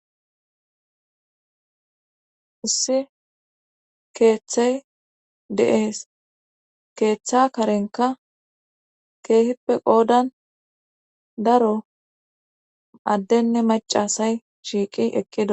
Issi keeththey de'ees keeththa karenka keehippe qoodan daro addenne macasay shiiqi eqqido